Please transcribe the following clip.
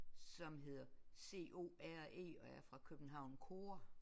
Som hedder C O R E og er fra København CORE